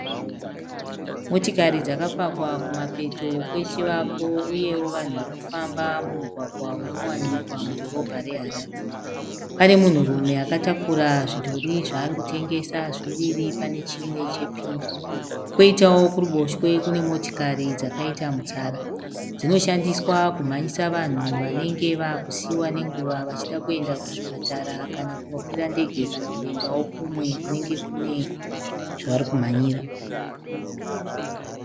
Motokari dzakapakwa kumapeto kwechivako uyewo vanhu vari kufamba mumugwagwa unowanikwa mudhorobha reHarare. Pane munhurume akatakura zvidhori zvaari kutengesa zviviri pane chimwe chepingi. Koitawo kuruboshwe kune motikari dzakaita mutsara. Dzinoshandiswa kumhanyisa vanhu vanenge vakusiiwa nenguva vachida kuenda kuzvipatara kana kunokwira ndege kana kuendawo kumwe kunenge kune zvavari kuchimhanyira.